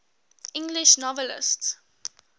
english novelists